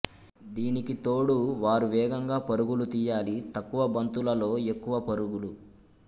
దీనికి తోడు వారు వేగంగా పరుగులు తీయాలి తక్కువ బంతులలో ఎక్కువ పరుగులు